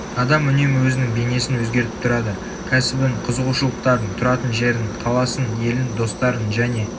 адам үнемі өзінің бейнесін өзгертіп тұрады кәсібін қызығушылықтарын тұратын жерін қаласын елін достарын және